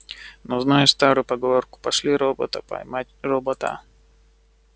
но знаешь старую поговорку пошли робота поймать робота